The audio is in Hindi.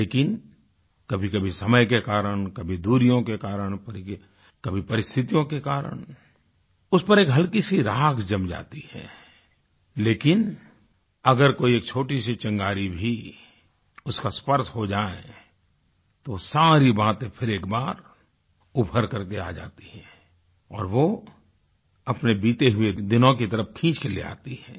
लेकिन कभीकभी समय के कारण कभी दूरियों के कारण कभी पारिस्थितियों के कारण उस पर एक हल्की सी राख जम जाती है लेकिन अगर कोई एक छोटी सी चिंगारी भी उसका स्पर्श हो जाए तो सारी बातें फिर एक बार उभर करके आ जाती हैं और वो अपने बीते हुए दिनों की तरफ खींच के ले आती हैं